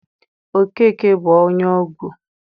Okeke bụ onye egwu.